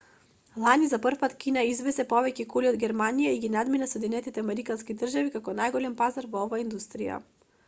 лани за прв пат кина извезе повеќе коли од германија и ги надмина соединетите американски држави како најголем пазар во оваа индустрија